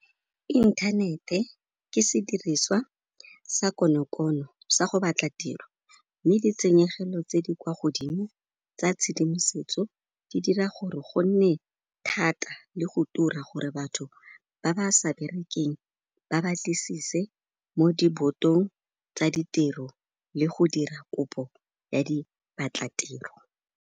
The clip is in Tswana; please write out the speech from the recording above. Inthanete ke sediriswa sa konokono sa go batla tiro, mme ditshenyegelo tse di kwa godimo tsa tshedimosetso di dira gore gonne thata le go tura gore batho ba ba sa berekeng ba batlisise mo di botong tsa ditiro le go dira kopo ya diphatlatiro.